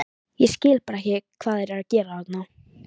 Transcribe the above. Ég skil bara ekki hvað þeir eru að gera þarna?